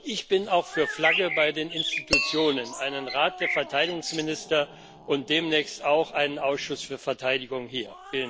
Ich bin auch für Flagge bei den Institutionen einen Rat der Verteidigungsminister und demnächst auch einen Ausschuss für Verteidigung hier.